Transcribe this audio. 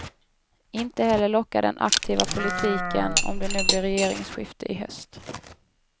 Inte heller lockar den aktiva politiken, om det nu blir regeringsskifte i höst.